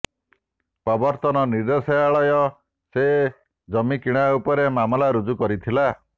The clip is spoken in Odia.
ପ୍ରବର୍ତ୍ତନ ନିର୍ଦେଶାଳୟ ସେ ଜମି କିଣା ଉପରେ ମାମଲା ରୁଜୁ କରିଥିଲା